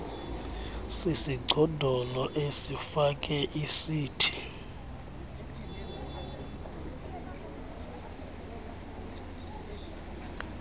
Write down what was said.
sisigcodolo esifake isuti